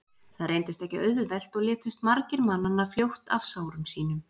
Það reyndist ekki auðvelt og létust margir mannanna fljótt af sárum sínum.